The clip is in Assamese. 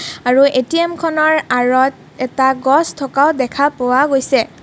আৰু এ_টি_এম খনৰ আঁৰত এটা গছ থকাও দেখা পোৱা গৈছে।